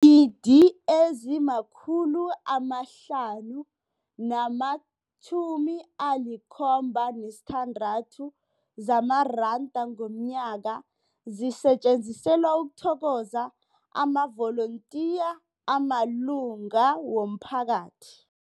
gidi ezima-576 zamaranda ngomnyaka zisetjenziselwa ukuthokoza amavolontiya amalunga womphakathi.